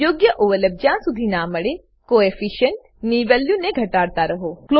યોગ્ય ઓવરલેપ જ્યાં શુધી ના મળે કોએફિશિયન્ટ કોઓફિસંટ ની વેલ્યુ ને ઘટાડતા રહો